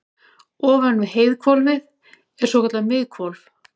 ofan við heiðhvolfið er svokallað miðhvolf